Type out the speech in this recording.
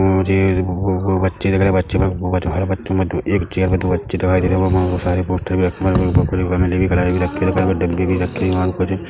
और वो बच्चे दिख रहे हैं बच्चे ब बच्चे बहुत सरे बच्चे एक चेयर पर दो बच्चे दिखाई दे रहे हैं जहाँ बहुत सारी पोस्टर भी रखे हुए हैं पकोड़े बनाने की कड़ाई भी रखी हुई हैं साइड में टंकी भी रखी हुई हैं।